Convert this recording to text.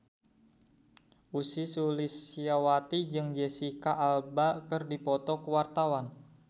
Ussy Sulistyawati jeung Jesicca Alba keur dipoto ku wartawan